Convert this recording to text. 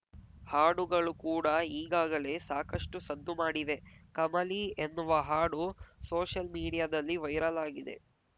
ಹಾಡುಗಳು ಕೂಡ ಈಗಾಗಲೇ ಸಾಕಷ್ಟುಸದ್ದು ಮಾಡಿವೆ ಕಮಲಿ ಎನ್ನುವ ಹಾಡು ಸೋಷಲ್‌ ಮೀಡಿಯಾದಲ್ಲಿ ವೈರಲ್‌ ಆಗಿದೆ